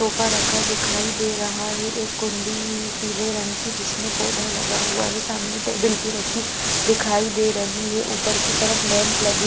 sofa रखा दिखाई दे रहा है एक कुंडी पीले रंग की जिसमें पौधा लगा हुआ है सामने टेबल भी रखी दिखाई दे रही है ऊपर की तरफ लैंप लगे--